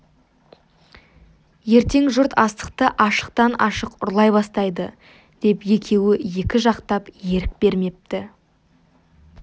ертең жұрт астықты ашықтан ашық ұрлай бастайды деп екеуі екі жақтап ерік бермепті